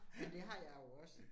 Men det har jeg jo også